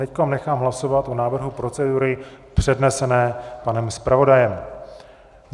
Teď nechám hlasovat o návrhu procedury přednesené panem zpravodajem.